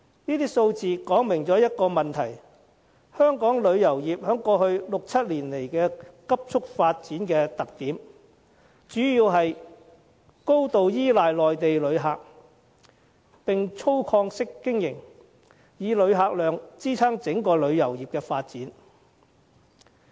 這些數字說明一個問題，就是香港旅遊業在過去六七年來的急速發展，主要是高度依賴內地旅客，並粗放式經營，以旅客量支撐整個旅遊業的發展。